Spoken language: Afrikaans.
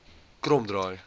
kromdraai